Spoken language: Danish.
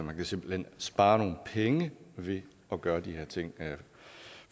man kan simpelt hen spare nogle penge ved at gøre de her ting